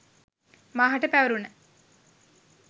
මාහට පැවරුන